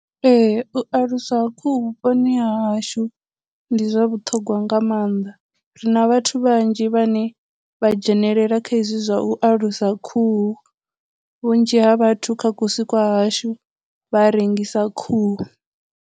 Ee, u aluswa ha khuhu vhuponi hahashu ndi zwa vhuṱhogwa nga maanḓa, ri na vhathu vhanzhi vhane vha dzhenelela kha izwi zwa u alusa khuhu, vhunzhi ha vhathu kha kusi kwa hashu vha a rengisa khuhu.